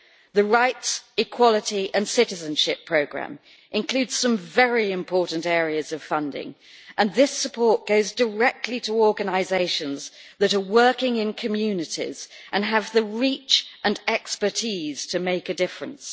The rights, equality and citizenship programme includes some very important areas of funding, and this support goes directly to organisations that are working in communities and have the reach and expertise to make a difference.